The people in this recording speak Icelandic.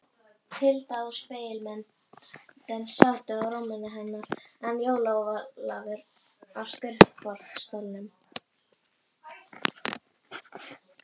Tilda og spegilmyndin sátu á rúminu hennar en Jón Ólafur á skrifborðsstólnum.